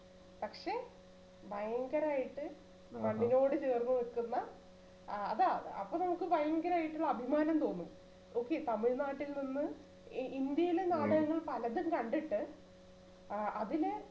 പക്ഷേ ഭയങ്കരായിട്ട് കണ്ണിനോട് ചേർന്ന് നിൽക്കുന്ന അ~അതാണ് അപ്പോൾ നമുക്ക് ഭയങ്കരായിട്ടുള്ള അഭിമാനം തോന്നും okay തമിഴ്നാട്ടിൽ നിന്ന് ഇ~ഇന്ത്യയിലെ നാടകങ്ങൾ പലതും കണ്ടിട്ട് ആ അതിനെ